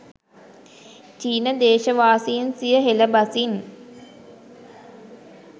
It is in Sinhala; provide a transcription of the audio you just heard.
චීන දේශවාසීන් සිය හෙළ බසින්